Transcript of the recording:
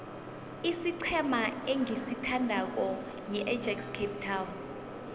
isiqhema engisithandako yiajax cape town